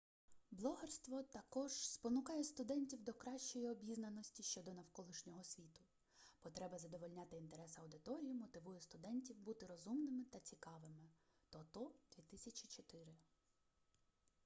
блогерство також спонукає студентів до кращої обізнаності щодо навколишнього світу". потреба задовольняти інтерес аудиторії мотивує студентів бути розумними та цікавими тото 2004